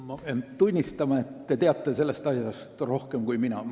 Ma pean tunnistama, et te teate sellest asjast rohkem kui mina.